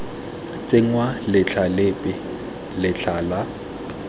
tsenngwa letlha lepe letlha la